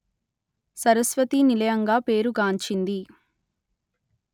సరస్వతి నిలయంగా పేరు గాంచింది